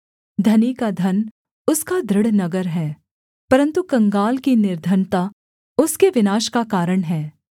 धनी का धन उसका दृढ़ नगर है परन्तु कंगाल की निर्धनता उसके विनाश का कारण हैं